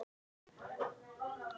Elsku amma.